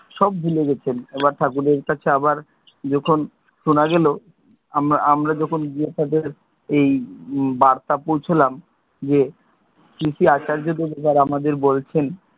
সব ভুলে গেছেন, এবার ঠাকুরের কাছে আবার যখন শোনা গেলো আমরা যখন গিয়ে তাদের এই বার্তা পৌঁছালাম যে কি কি আচার্যদেব এবার আমাদের বলছেন,